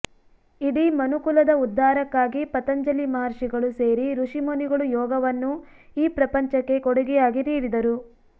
ಇಡೀ ಮನುಕುಲದ ಉದ್ಧಾರಕ್ಕಾಗಿ ಪತಂಜಲಿ ಮಹರ್ಷಿಗಳು ಸೇರಿ ಋಷಿ ಮುನಿಗಳು ಯೋಗವನ್ನು ಈ ಪ್ರಪಂಚಕ್ಕೆ ಕೊಡುಗೆಯಾಗಿ ನೀಡಿದರು